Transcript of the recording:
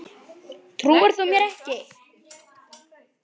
Trúir þú mér ekki?